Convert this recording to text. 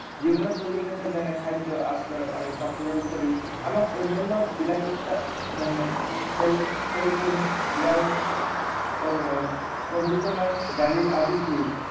জীৱনৰ প্ৰয়োজনীয়তা যেনে খাদ্য়, আশ্ৰয় আৰু কাপোৰৰ উপৰিও আমাক অন্য়ান্য় বিলাসিতা যেনে চেলফোন, এয়াৰ কণ্ডিচনাৰ, গাড়ী আদিৰ প্ৰয়োজন